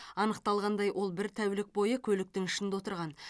анықталғандай ол бір тәулік бойы көліктің ішінде отырған